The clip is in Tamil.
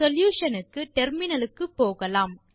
சொல்யூஷன் க்கு டெர்மினல் க்கு போகலாம்